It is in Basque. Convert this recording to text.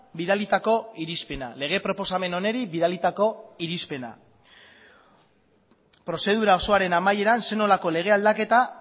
bidalitako irizpena lege proposamen honi bidalitako irizpena prozedura osoaren amaieran zer nolako lege aldaketa